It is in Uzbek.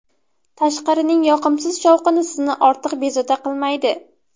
Tashqarining yoqimsiz shovqini sizni ortiq bezovta qilmaydi.